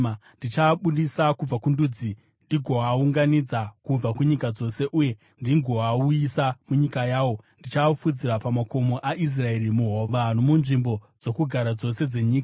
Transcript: Ndichaabudisa kubva kundudzi ndigoaunganidza kubva kunyika dzose, uye ndigoauyisa munyika yawo. Ndichaafudzira pamakomo aIsraeri, muhova, nomunzvimbo dzokugara dzose dzenyika.